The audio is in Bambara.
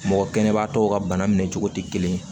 Mɔgɔ kɛnɛbaatɔw ka bana minɛ cogo tɛ kelen ye